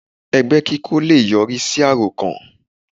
Ẹgbẹ́ kí kó lé è yọrí sí àròkàn